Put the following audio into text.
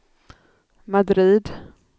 Madrid